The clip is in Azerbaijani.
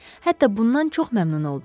Hətta bundan çox məmnun oldum.